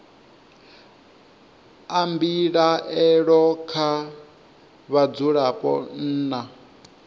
a mbilaelo kha vhadzulapo nna